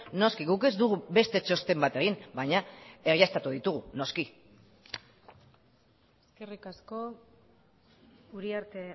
noski guk ez dugu beste txosten bat egin baina baieztatu ditugu noski eskerrik asko uriarte